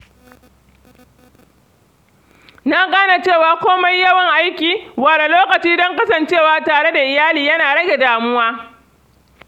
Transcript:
Na gane cewa komai yawan aiki, ware lokaci don kasancewa tare da iyali yana rage damuwa.